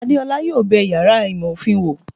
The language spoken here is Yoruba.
Adéọlá yóò bé iyàrá ìmọ ofín wò